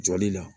Jɔli la